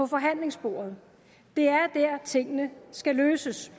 forhandlingsbordet det er der tingene skal løses